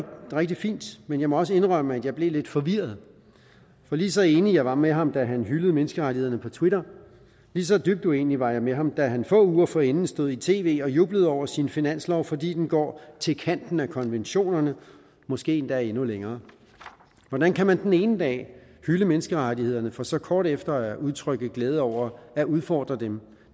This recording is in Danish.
rigtig fint men jeg må også indrømme at jeg blev lidt forvirret for lige så enig jeg var med ham da han hyldede menneskerettighederne på twitter lige så dybt uenig var jeg med ham da han få uger forinden stod i tv og jublede over sin finanslov fordi den går til kanten af konventionerne måske endda endnu længere hvordan kan man den ene dag hylde menneskerettighederne for så kort tid efter at udtrykke glæde over at udfordre dem